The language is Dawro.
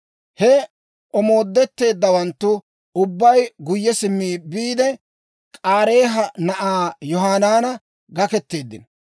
He omoodetteeddawanttu ubbay guyye simmiide biide, K'aareeha na'aa Yohanaanan gakketeeddino.